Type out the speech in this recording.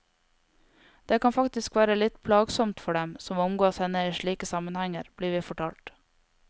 Det kan faktisk være litt plagsomt for dem som omgås henne i slike sammenhenger, blir vi fortalt.